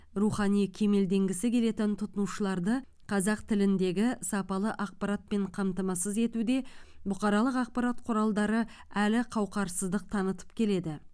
рухани кемелденгісі келетін тұтынушыларды қазақ тіліндегі сапалы ақпаратпен қамтамасыз етуде бұқаралық ақпарат құралдары әлі қауақарсыздық танытып келеді